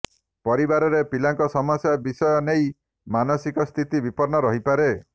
ପରିବାରରେ ପିଲାଙ୍କ ସମସ୍ୟା ବିଷୟ ନେଇ ମାନସିକ ସ୍ଥିତି ବିପନ୍ନ ରହିପାରେ